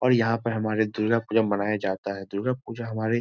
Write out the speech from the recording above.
और यहां पर हमारे दुर्गा पूजा मनाया जाता है। दुर्गा पूजा हमारे--